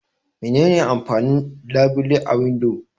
Mene ne amfanin labile a windo?